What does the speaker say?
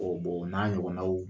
o n'a ɲɔgɔnnaw